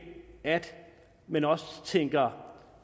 at man også tænker